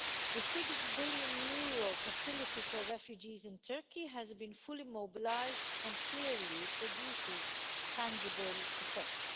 The EUR 6 billion facility for refugees in Turkey has been fully mobilised and clearly produces tangible effects.